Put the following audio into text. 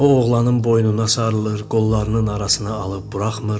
O oğlanın boynuna sarılır, qollarının arasına alıb buraxmır.